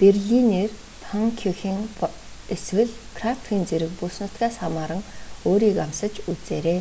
берлинер паннкюхен эсвэл крапфен зэрэг бүс нутгаас хамааран өөрийг амсаж үзээрэй